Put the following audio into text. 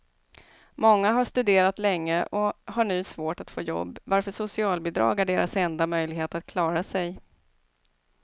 Många har studerat länge och har nu svårt att få jobb, varför socialbidrag är deras enda möjlighet att klara sig.